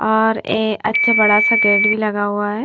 और ए अच्छा बड़ा सा गेट भी लगा हुआ हैं।